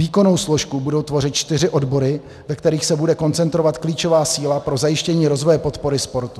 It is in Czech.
Výkonnou složku budou tvořit čtyři odbory, ve kterých se bude koncentrovat klíčová síla pro zajištění rozvoje podpory sportu.